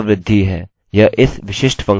यह इस विशिष्ट फंक्शनfunction को देता है